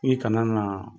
I kana na